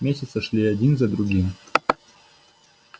месяцы шли один за другим